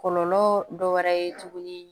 Kɔlɔlɔ dɔ wɛrɛ ye tuguni